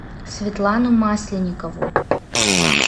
светлану масленникову